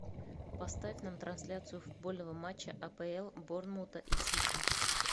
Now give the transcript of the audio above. поставь нам трансляцию футбольного матча апл борнмута и сити